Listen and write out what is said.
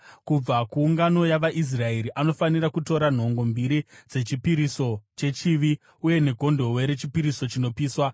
Kubva kuungano yavaIsraeri anofanira kutora nhongo mbiri dzechipiriso chechivi uye negondobwe rechipiriso chinopiswa.